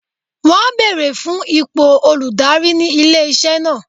Wọn beere fun ipo oludari ni ile-iṣẹ naa.